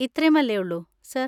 ഇത്രേം അല്ലേയുള്ളു, സർ?